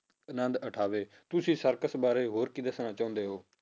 ਅਨੰਦ ਉਠਾਵੇ ਤੁਸੀਂ circus ਬਾਰੇ ਹੋਰ ਕੀ ਦੱਸਣਾ ਚਾਹੁੰਦੇ ਹੋ?